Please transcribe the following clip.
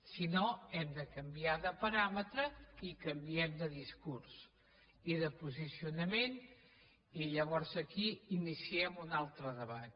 si no hem de canviar de paràmetres i canviem de discurs i de posicionament i llavors aquí iniciem un altre debat